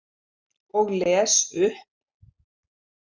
Og les upp.